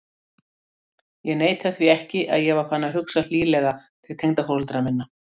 Ég neita því ekki að ég var farinn að hugsa hlýlega til tengdaforeldra minna.